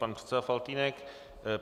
Pan předseda Faltýnek.